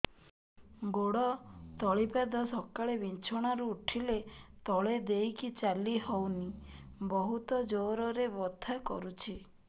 ଗୋଡ ତଳି ପାଦ ସକାଳେ ବିଛଣା ରୁ ଉଠିଲେ ତଳେ ଦେଇକି ଚାଲିହଉନି ବହୁତ ଜୋର ରେ ବଥା କରୁଛି